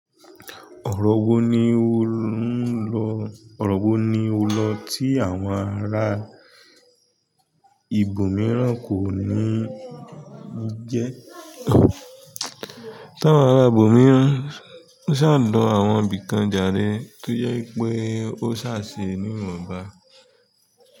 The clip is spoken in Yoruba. Ọ̀rọ̀ wo ni o ń lọ, ọ̀rọ̀ wo ni o lọ tí àwọn ará ibòmíràn kò ní jẹ́? Tí àwọn ará ibòmíràn ń ṣàdọ̀ àwọn ibìkan jare tó yẹ pé ó ṣàṣì ní wọ̀nba.